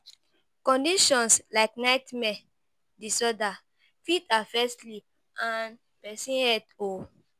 Conditions like nightmare disorder fit affect sleep and person health